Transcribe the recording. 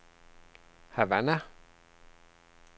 Havana